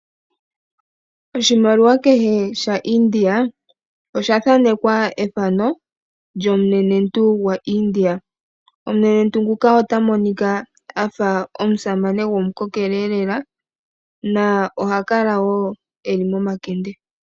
Oshimaliwa kehe as as sha India osha thaanekwa ethano lyomunenentu gwa India. Omunenentu nguka ota monika afa omusamane gomukokele lela. Na oha kala woo eli momakende .